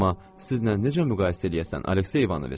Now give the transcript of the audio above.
Amma sizlə necə müqayisə eləyəsən, Aleksey İvanoviç?